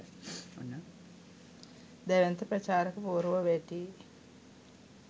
දැවැන්ත ප්‍රචාරක පුවරුව වැටී